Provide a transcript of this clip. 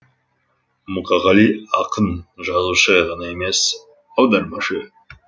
мұқағали ақын жазушы ғана емес аудармашы